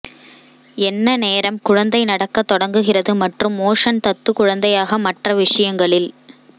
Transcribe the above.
என்ன நேரம் குழந்தை நடக்க தொடங்குகிறது மற்றும் மோஷன் தத்து குழந்தையாக மற்ற விஷயங்களில்